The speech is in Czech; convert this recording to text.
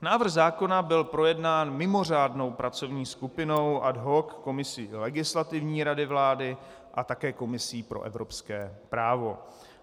Návrh zákona byl projednán mimořádnou pracovní skupinou, ad hoc komisí Legislativní rady vlády a také komisí pro evropské právo.